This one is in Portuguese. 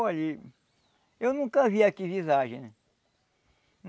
Olha, eu nunca vi aqui visagem.